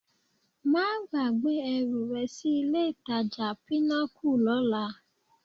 Má gbàgbé ẹrù rẹ sí ilé-ìtajà Pinnacle lọ́la